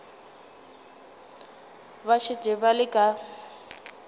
ba šetše ba le ka